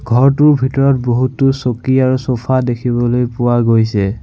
ঘৰটোৰ ভিতৰত বহুতো চকী আৰু চ'ফা দেখিবলৈ পোৱা গৈছে।